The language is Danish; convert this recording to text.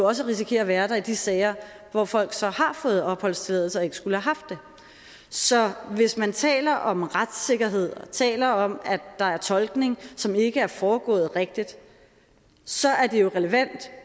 også risikerer at være der i de sager hvor folk så har fået opholdstilladelse og ikke skulle have haft det så hvis man taler om retssikkerhed og taler om at der er tolkning som ikke er foregået rigtigt så er det jo relevant